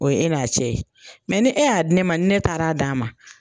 O ye e n'a cɛ mɛ ni e y'a di ne ma ni ne taara d'a ma